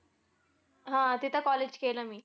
हा तिथं college केलं मी.